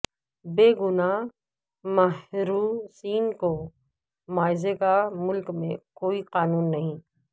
بے گناہ محروسین کو معاوضہ کا ملک میں کوئی قانون نہیں